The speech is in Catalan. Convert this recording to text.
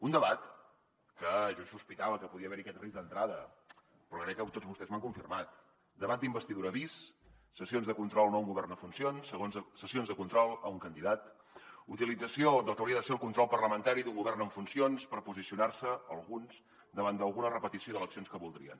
un debat que jo sospitava que podia haver hi aquest risc d’entrada però que tots vostès m’han confirmat debat d’investidura bis sessions de control no a un govern en funcions sessions de control a un candidat utilització del que hauria de ser el control parlamentari a un govern en funcions per posicionar se alguns davant d’alguna repetició d’eleccions que voldrien